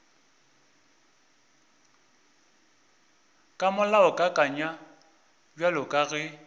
ka molaokakanywa bjalo ka ge